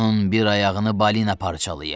Onun bir ayağını balina parçalayıb.